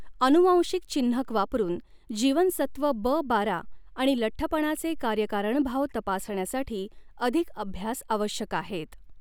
अनुवांशिक चिन्हक वापरून जीवनसत्व ब बारा आणि लठ्ठपणाचे कार्यकारणभाव तपासण्यासाठी अधिक अभ्यास आवश्यक आहेत.